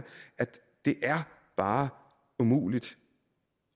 det bare er umuligt